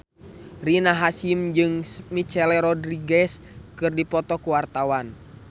Rina Hasyim jeung Michelle Rodriguez keur dipoto ku wartawan